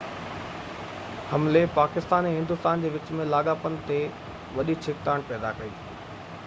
حملي پاڪستان ۽ هندوستان جي وچ ۾ لاڳاپن تي وڏي ڇڪتاڻ پيدا ڪئي